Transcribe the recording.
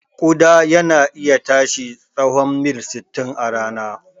Ƙuda yana iya tashi tsahon mil sittin a rana ɗaya.